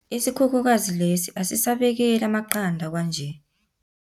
Isikhukhukazi lesi asisabekeli amaqanda kwanje.